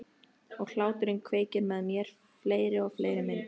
Og hláturinn kveikir með mér fleiri og fleiri myndir.